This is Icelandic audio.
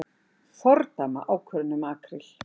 Fordæma ákvörðun um makríl